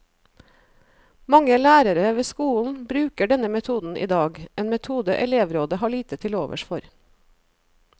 Mange lærere ved skolen bruker denne metoden i dag, en metode elevrådet har lite til overs for.